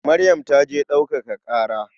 Maryam ta je ɗaukaka ƙara.